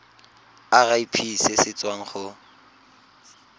irp se se tswang go